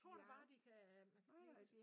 Tror du bare de kan man kan blive